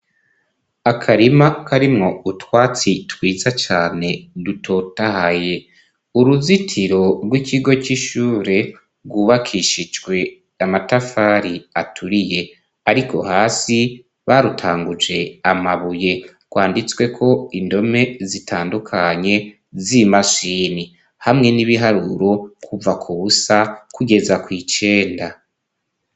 Akarima karimwo utwatsi twiza cane dutotahaye. Uruzitiro rw'ikigo c'ishure rwubakishijwe amatafari aturiye; ariko hasi barutanguje amabuye. Rwanditsweko indome zitandukanye z'imashini hamwe n'ibiharuro kuva ku busa kugeza kw'icenda.